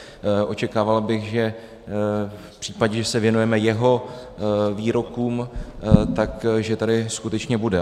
Očekával bych, že v případě, že se věnujeme jeho výrokům, že tady skutečně bude.